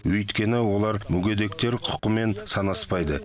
өйткені олар мүгедектер құқымен санаспайды